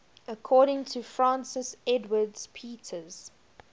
according to francis edwards peters